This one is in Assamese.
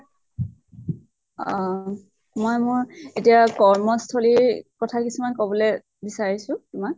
আহ মই মোৰ এতিয়া কৰ্মস্থলীৰ কথা কিছুমান কবলৈ বিছাৰিছো তোমাল।